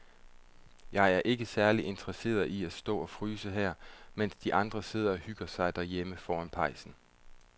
Jeg er ikke særlig interesseret i at stå og fryse her, mens de andre sidder og hygger sig derhjemme foran pejsen.